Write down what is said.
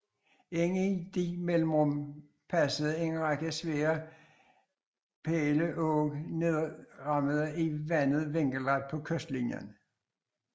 Ind i disse mellemrum passede en række svære pæleåg nedrammede i vandet vinkelret på kystlinien